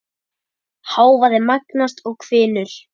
Hávaði magnast og hvinur.